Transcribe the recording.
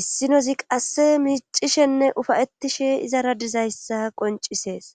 issinozi qasse miicishenne ufayettishe izara dizayssa qoncisees